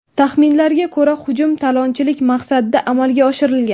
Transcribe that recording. Taxminlarga ko‘ra, hujum talonchilik maqsadida amalga oshirilgan.